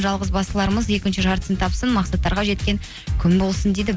жалғызбастыларымыз екінші жартысын тапсын мақсаттарға жеткен күн болсын дейді